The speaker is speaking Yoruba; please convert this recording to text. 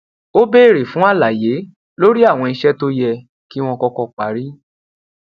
ó béèrè fún àlàyé lórí àwọn iṣẹ tó yẹ kí wọn kọkọ parí